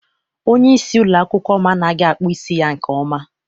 Onyeisi ụlọakwụkwọ m anaghị akpụ isi ya nke ọma.